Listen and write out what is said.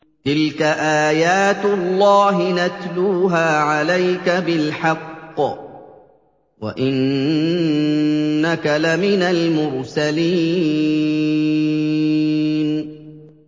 تِلْكَ آيَاتُ اللَّهِ نَتْلُوهَا عَلَيْكَ بِالْحَقِّ ۚ وَإِنَّكَ لَمِنَ الْمُرْسَلِينَ